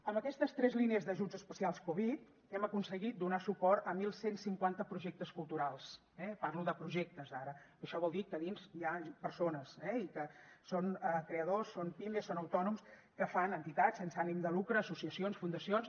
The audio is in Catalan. amb aquestes tres línies d’ajuts especials covid hem aconseguit donar suport a onze cinquanta projectes culturals eh parlo de projectes ara això vol dir que dins hi ha persones i que són creadors són pimes són autònoms que fan entitats sense ànim de lucre associacions fundacions